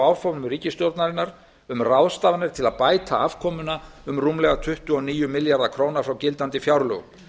áformum ríkisstjórnarinnar um ráðstafanir til að bæta afkomuna um rúmlega tuttugu og níu milljarða króna frá gildandi fjárlögum